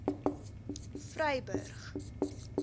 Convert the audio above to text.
vryburg